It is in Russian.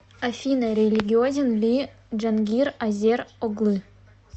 афина религиозен ли джангир азер оглы